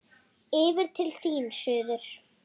Yfir til þín, suður.